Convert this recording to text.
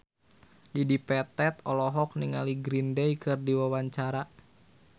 Dedi Petet olohok ningali Green Day keur diwawancara